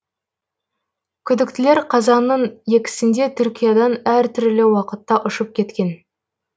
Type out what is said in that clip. күдіктілер қазанның екісінде түркиядан әр түрлі уақытта ұшып кеткен